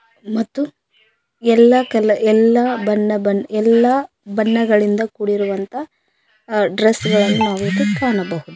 ಮತ್ತು ಎಲ್ಲ ಕಲ ಎಲ್ಲಾ ಬಣ್ಣ ಬಣ್ಣ ಇಲ್ಲಾ ಬಣ್ಣಗಳಿಂದ ಕುಡಿರುವಂತ ಅ ಡ್ರೆಸ್ ಗಳನ್ನು ನಾವಿಲ್ಲಿ ಕಾಣಬಹುದು.